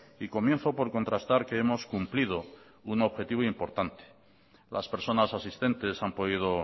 y comienzo por contrastar que hemos cumplido un objetivo importante las personas asistentes han podido